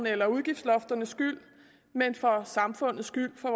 eller udgiftslofternes skyld men for samfundets skyld for